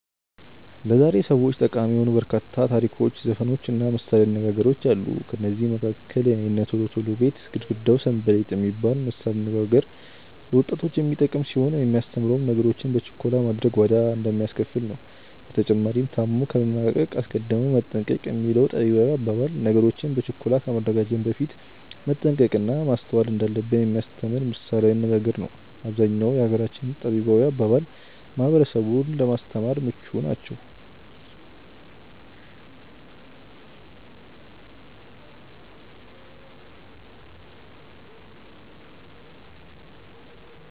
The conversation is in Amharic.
ለዛሬ ሰዎች ጠቃሚ የሆኑ በርካታ ታሪኮች ዘፈኖች እና ምሳሌያዊ አነጋገሮች አሉ። ከነዚህም መካከል "የእነ ቶሎ ቶሎ ቤት ግርግዳው ሰንበሌጥ።" የሚባል ምሳሌያዊ አነጋገር ለወጣቶች የሚጠቅም ሲሆን የሚያስተምረውም ነገሮችን በችኮላ ማድረግ ዋጋ እንደሚያስከፍል ነው። በተጨማሪም "ታሞ ከመማቀቅ አስቀድሞ መጠንቀቅ።" የሚለው ጠቢባዊ አባባል ነገሮችን በችኮላ ከማድረጋችን በፊት መጠንቀቅ እና ማስተዋል እንዳለብን የሚያስተምር ምሳሌያዊ አነጋገሩ ነው። አብዛኛው የሀገራችን ጠቢባዊ አባባል ማህበረሰቡን ለማስተማር ምቹ ናቸው።